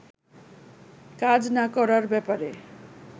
কাজ না করার ব্যাপারে